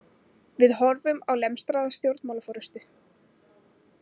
Við horfum á lemstraða stjórnmálaforystu